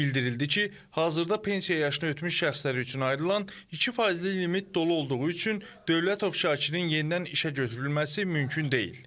Bildirildi ki, hazırda pensiya yaşını ötmüş şəxslər üçün ayrılan 2%li limit dolu olduğu üçün Dövlətov Şakirin yenidən işə götürülməsi mümkün deyil.